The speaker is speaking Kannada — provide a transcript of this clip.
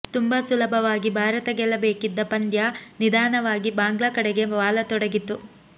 ತುಂಬಾ ಸುಲಭವಾಗಿ ಭಾರತ ಗೆಲ್ಲಬೇಕಿದ್ದ ಪಂದ್ಯ ನಿಧಾನವಾಗಿ ಬಾಂಗ್ಲಾ ಕಡೆಗೆ ವಾಲತೊಡಗಿತು